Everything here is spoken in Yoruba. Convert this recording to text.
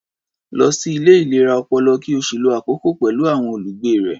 Lọ sí ilé ìlera ọpọlọ, ki ó sì lo àkokò pẹ̀lú àwọn olùgbé rẹ̀.